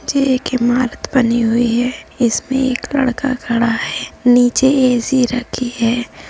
जे एक इमारत बनी हुई है। इसमें एक लडका खड़ा है। नीचे ए सी रखी है।